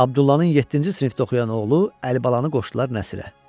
Abdullanın yeddinci sinifdə oxuyan oğlu Əlibalanı qoşdular Nəsirə.